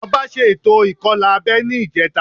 Ọba ṣe ètò ìkọlà abẹ́ ní ìjẹta